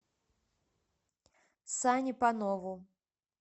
сане панову